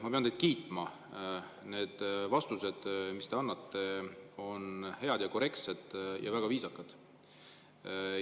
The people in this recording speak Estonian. Ma pean teid kiitma: need vastused, mis te annate, on head, korrektsed ja väga viisakad.